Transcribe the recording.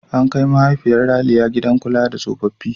An kai mahaifin Ralia gidan kula da tsofaffi.